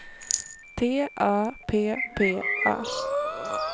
T A P P A